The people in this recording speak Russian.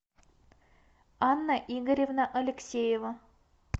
анна игоревна алексеева